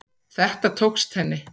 Þetta tókst henni.